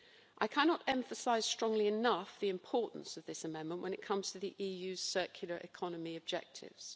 I cannot emphasise strongly enough the importance of this amendment when it comes to the EU's circular economy objectives.